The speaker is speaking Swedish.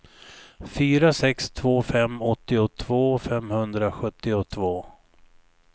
fyra sex två fem åttiotvå femhundrasjuttiotvå